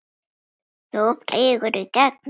Þú flýgur í gegn núna!